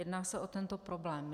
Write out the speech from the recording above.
Jedná se o tento problém.